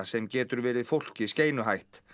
sem getur verið fólki skeinuhætt